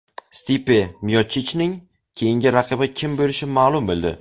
Stipe Miochichning keyingi raqibi kim bo‘lishi ma’lum bo‘ldi.